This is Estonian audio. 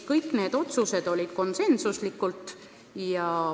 Kõik otsused olid konsensuslikud.